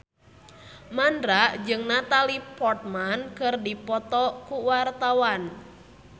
Mandra jeung Natalie Portman keur dipoto ku wartawan